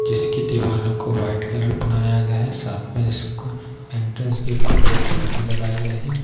जिसकी दीवालो को वाइट कलर बनाया गया है साथ में इसका एंट्रेंस गेट पे दो पिलर भी लगाए गए हैं।